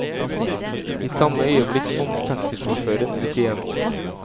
I samme øyeblikk kom taxisjåføren ut igjen.